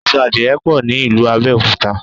Aṣọ adìrẹ pọ̀ ní ìlú Abẹ́òkúta